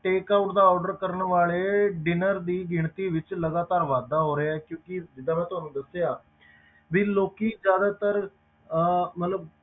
Take out ਦਾ order ਕਰਨ ਵਾਲੇ dinner ਵਿੱਚ ਲਗਾਤਾਰ ਵਾਧਾ ਹੋ ਰਿਹਾ ਹੈ ਕਿਉਂਕਿ ਜਿੱਦਾਂ ਮੈਂ ਤੁਹਾਨੂੰ ਦੱਸਿਆ ਵੀ ਲੋਕੀ ਜ਼ਿਆਦਾਤਰ ਅਹ ਮਤਲਬ